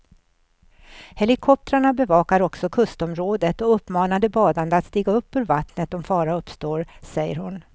Helikoptrarna bevakar också kustområdet och uppmanar de badande att stiga upp ur vattnet om fara uppstår, säger hon.